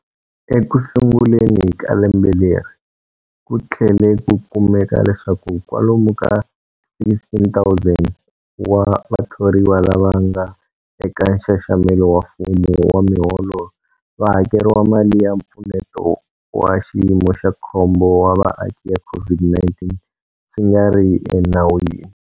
Ekusunguleni ka lembe leri, ku tlhele ku kumeka leswaku kwalomu ka 16,000 wa vathoriwa lava nga eka nxaxamelo wa mfumo wa miholo va hakeriwile mali ya Mpfuneto wa Xiyimo xa Khombo wa Vaaki ya COVID-19 swi nga ri enawini.